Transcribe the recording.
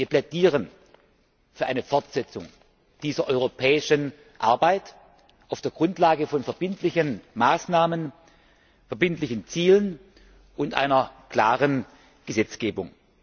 Wir plädieren für eine Fortsetzung dieser europäischen Arbeit auf der Grundlage von verbindlichen Maßnahmen, verbindlichen Zielen und einer klaren Gesetzgebung.